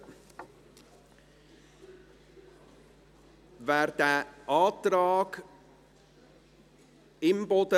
Sie haben dem Antrag zugestimmt, mit 99 Ja- zu 35 Nein-Stimmen.